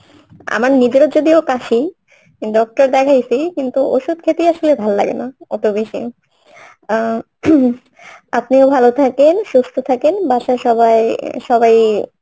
আমার নিজেরও যদিওবা কাশি doctor দেখায়সি কিন্তু ঔষধ খেতেই আসলে ভাল লাগেনা এত বেশী আও ing আপনিও ভালো থাকেন সুস্থ থাকেন বাসার সবাই, সবাই,